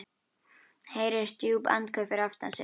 Heyrir djúp andköf fyrir aftan sig.